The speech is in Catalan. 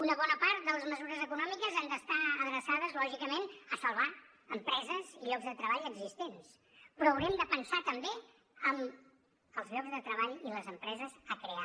una bona part de les mesures econòmiques han d’estar adreçades lògicament a salvar empreses i llocs de treball existents però haurem de pensar també en els llocs de treball i les empreses a crear